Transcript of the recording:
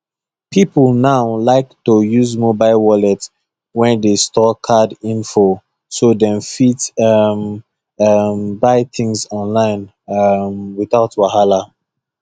people now like to use mobile wallet wey dey store card info so dem fit um um buy things online um without wahala